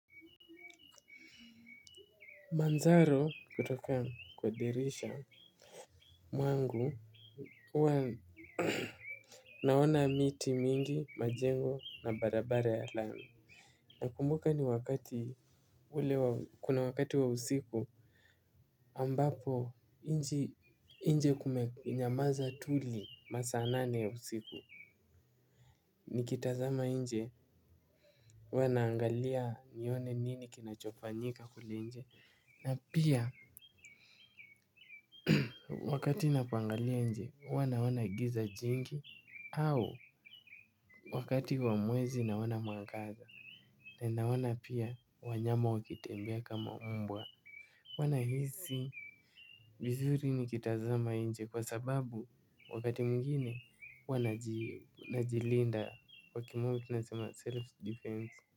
Manzaro kutoka kwa dirisha mwangu huwa naona miti mingi majengo na barabara ya lami nakumbuka ni wakati ule kuna wakati wa usiku ambapo nje kumenyamaza tuli masaa nane ya usiku nikitazama nje huwa naangalia nione nini kinachofanyika kule nje na pia wakati napoangalia nje huwa naona giza jingi au wakati wa mwezi naona mwangaza na naona pia wanyama wakitembea kama mbwa. Huwa nahisi vizuri nikitazama nje kwa sababu wakati mwingine huwa najilinda kwa kimombo tunasema self defense.